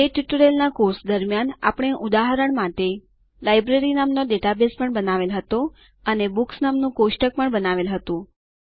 તે ટ્યુટોરીયલના કોર્સ દરમિયાન આપણે ઉદાહરણ માટે લાઇબ્રેરી નામનો ડેટાબેઝ પણ બનાવેલ હતો અને બુક્સ નામનું કોષ્ટક પણ બનાવેલ હતું